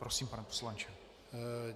Prosím, pane poslanče.